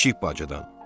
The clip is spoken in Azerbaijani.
Kiçik bacıdan.